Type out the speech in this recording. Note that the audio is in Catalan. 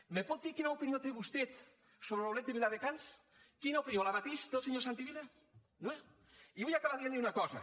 me pot dir quina opinió té vostè sobre l’outlet na opinió la mateixa que el senyor santi vila i vull acabar dient li una cosa